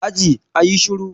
Aji, a yi shiru.